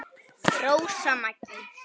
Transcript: Rósa Maggý.